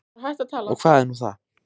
Og hvað er nú það?